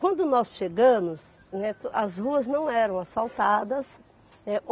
Quando nós chegamos, né to, as ruas não eram asfaltadas, é